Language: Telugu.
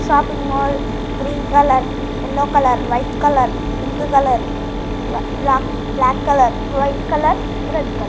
Shopping mall green colour yellow colour white colour pink colour బ్ల - -black colour white colour red colour .